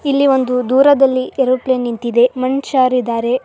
ಇಲ್ಲಿ ಒಂದು ದೂರದಲ್ಲಿ ಏರೊಪ್ಲೇನ ನಿಂತಿದೇ ಮನುಷ್ಯರಿದ್ದಾರೆ.